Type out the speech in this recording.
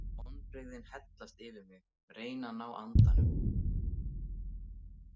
Vonbrigðin hellast yfir mig, reyni að ná andanum.